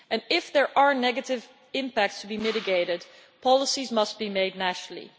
If there are negative impacts to be mitigated, policies must be made nationally.